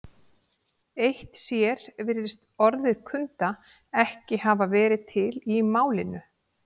Eitt sér virðist orðið kunda ekki hafa verið til í málinu.